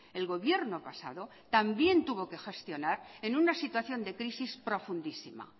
el gobierno pasado también tuvo que gestionar en una situación de crisis profundísima